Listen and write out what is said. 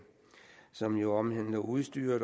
som jo også omhandler udstyret